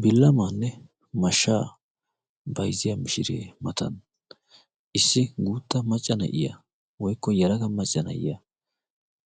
Bilamaanne mashshaa bayzziya mishiree matan issi guutta macca na'iya woykko yelaga macca na'iya